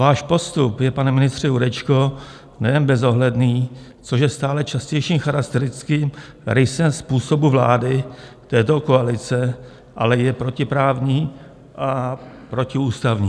Váš postup je, pane ministře Jurečko, nejen bezohledný, což je stále častějším charakteristickým rysem způsobu vlády této koalice, ale je protiprávní a protiústavní.